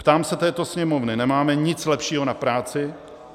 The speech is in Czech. Ptám se této sněmovny: Nemáme nic lepšího na práci?